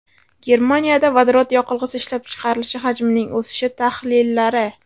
Germaniyada vodorod yoqilg‘isi ishlab chiqarilishi hajmining o‘sishi tahlillari.